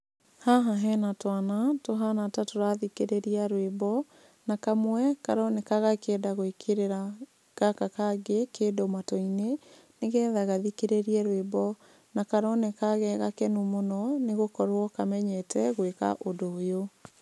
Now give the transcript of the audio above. Haha hena twana, tũhana tatũrathikĩrĩria rwĩmbo, na kamwe karoneka gakĩenda gũĩkĩrĩra gaka kangĩ kĩndũ matũ-inĩ, nĩgetha gathikĩrĩrie rwĩmbo, na karoneka gegakenu mũno, nĩgũkorwo kamenyete gũĩka ũndũ ũyũ.